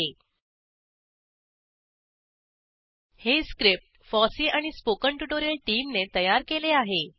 httpspoken tutorialorgNMEICT Intro हे script FOSSEE आणि spoken tutorial टीमने तयार केले आहे